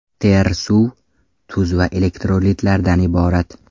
Ter suv, tuz va elektrolitlardan iborat.